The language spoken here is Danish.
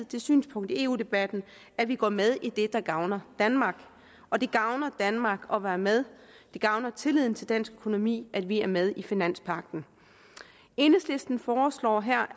det synspunkt i eu debatten at vi går med i det der gavner danmark og det gavner danmark at være med det gavner tilliden til dansk økonomi at vi er med i finanspagten enhedslisten foreslår her